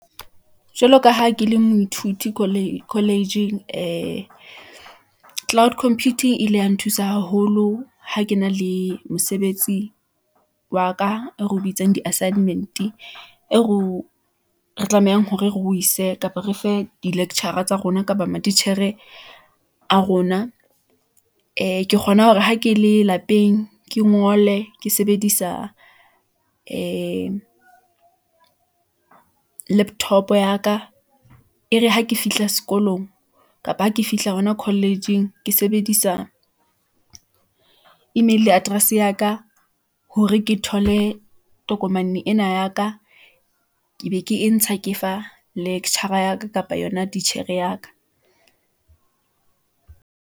Jwalo ka ha ke le moithuti college-ing , cloud computing e ile ya nthusa haholo, ha ke na le mosebetsi wa ka, eo ro bitsang di-assignment-e , eo re tlamehang hore re o ise, kapa re fe di-lecture-a tsa rona, kapa matitjhere a rona . Ee, ke kgona hore ha ke le lapeng, ke ngole ke sebedisa ee dlaptop-o ya ka . E re ha ke fihla sekolong , kapa ha ke fihla hona college-eng ke sebedisa email address ya ka , hore ke thole tokomane ena ya ka , ke be ke e ntsha ke fa lecturer-a ya ka, kapa yona titjhere ya ka.